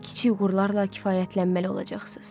Kiçik uğurlarla kifayətlənməli olacaqsınız.